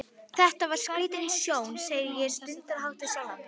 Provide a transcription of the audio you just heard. Þetta var skrítin sjón, segi ég stundarhátt við sjálfa mig.